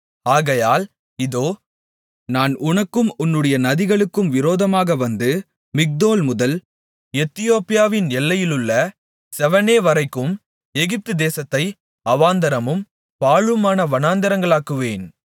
ஆகையால் இதோ நான் உனக்கும் உன்னுடைய நதிகளுக்கும் விரோதமாக வந்து மிக்தோல்முதல் எத்தியோப்பியாவின் எல்லையிலுள்ள செவெனேவரைக்கும் எகிப்துதேசத்தை அவாந்தரமும் பாழுமான வனாந்திரங்களாக்குவேன்